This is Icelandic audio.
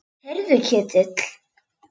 Heyrðu Ketill.